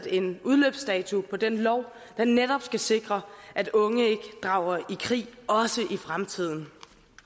en udløbsdato på den lov der netop skal sikre at unge ikke drager i krig også i fremtiden